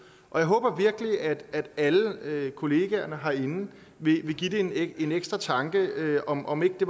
jeg håber virkelig at alle kollegaerne herinde vil give det en en ekstra tanke om om ikke det